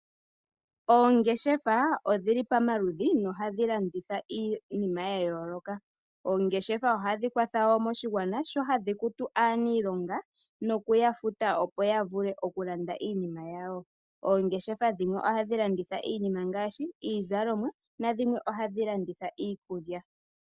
Oongeshefa odhili pamaludhi nohadhi landitha iinima yayooloka. Oongeshefa ohadhi kwa tha woo moshigwana sho hadhi kutu aaniilonga nokuya futa opo yavule oku landa iinima yawo. Oongeshefa dhimwe ohadhi landitha iinima ngaashi iizalomwa nadhimwe ohadhi landitha iikulya.